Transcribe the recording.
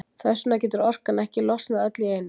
Þess vegna getur orkan ekki losnað öll í einu.